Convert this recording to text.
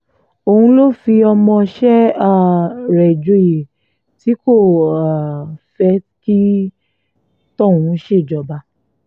òun ló fi ọmọọṣẹ́ um rẹ̀ joyè tí kò um fẹ́ kí tọ̀hún ṣèjọba